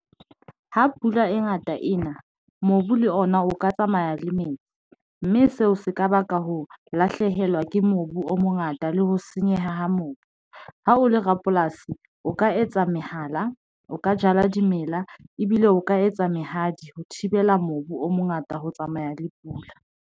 Ha pula e ngata ena, mobu le ona o ka tsamaya le metsi, mme seo se ka baka ho lahlehelwa ke mobu o mongata le ho senyeha ha mobu ha o le rapolasi, o ka etsa mehala, o ka jala dimela ebile o ka etsa mehadi ho thibela mobu o mongata ho tsamaya le pula.